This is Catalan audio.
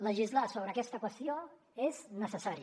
legislar sobre aquesta qüestió és necessari